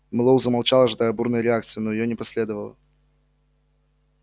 мэллоу замолчал ожидая бурной реакции но её не последовало